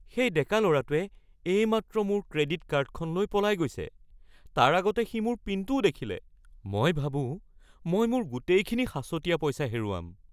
সেই ডেকা ল'ৰাটোৱে এইমাত্ৰ মোৰ ক্ৰেডিট কাৰ্ডখন লৈ পলাই গৈছে। তাৰ আগতে সি মোৰ পিনটোও দেখিলে। মই ভাবোঁ মই মোৰ গোটেইখিনি সাঁচতীয়া পইচা হেৰুৱাম।